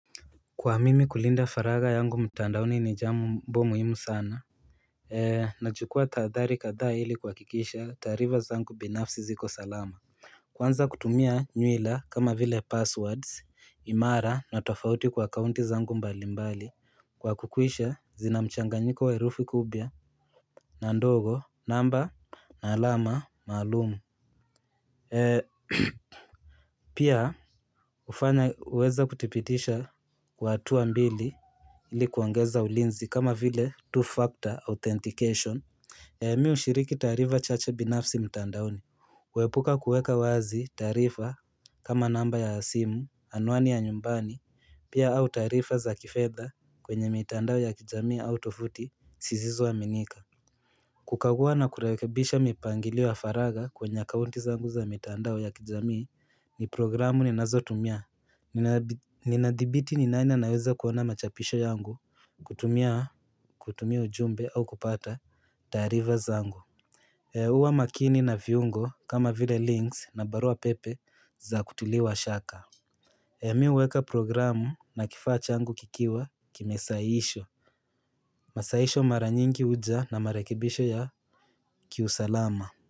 Kwa mimi kulinda faragha yangu mtandaoni ni jambo muhimu sana Nachukua tahadhari kadhaa ili kuhakikisha taarifa zangu binafsi ziko salama Kwanza kutumia nywila kama vile passwords imara na tofauti kwa kaunti zangu mbalimbali kwa kukuisha zina mchanganyiko wa herufi kubia na ndogo namba na alama malumu Pia hufanya uweza kutipitisha kwa hatua mbili ili kuongeza ulinzi kama vile two-factor authentication. Mi hushiriki taarifa chache binafsi mtandaoni Huepuka kuweka wazi taarifa kama namba ya simu, anwani ya nyumbani, pia au taarifa za kifedha kwenye mitandao ya kijamii au tovuti, sizizo aminika kukagua na kurekebisha mipangilio ya faragha kwenye akaunti zangu za mitandao ya ninazotumia Ninadhibiti ni nani anaweza kuona machapisho yangu kutumia kutumia ujumbe au kupata taarifa zangu huwa makini na viungo kama vile links na barua pepe za kutuliwa shaka Mi huweka programu na kifaa changu kikiwa kimesahihishwa Masahisho mara nyingi huja na marekebisho ya kiusalama.